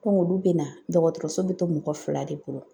Ko olu bɛ na dɔgɔtɔrɔso bɛ to mɔgɔ fila de bolo